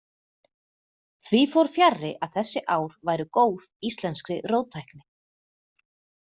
Því fór fjarri að þessi ár væru góð íslenskri róttækni.